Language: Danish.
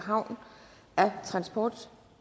kom